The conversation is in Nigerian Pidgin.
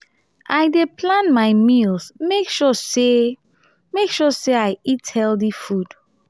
i dey plan my meals make sure make sure sey i eat healthy food.